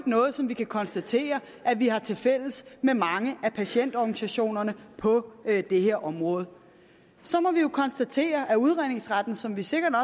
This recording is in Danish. noget som vi kan konstatere at vi har tilfælles med mange af patientorganisationerne på det her område så må vi konstatere at udredningsretten som vi sikkert